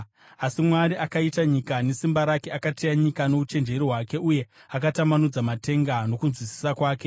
Asi Mwari akaita nyika nesimba rake, akateya nyika nouchenjeri hwake, uye akatambanudza matenga nokunzwisisa kwake.